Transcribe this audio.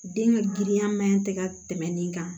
Den ka girinya maɲɛn tɛ ka tɛmɛ nin kan